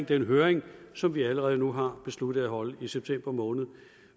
den høring som vi allerede nu har besluttet at holde i september måned